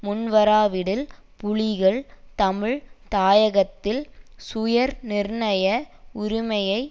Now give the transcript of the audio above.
முன்வராவிடில் புலிகள் தமிழ் தாயகத்தில் சுயநிர்ணய உரிமையை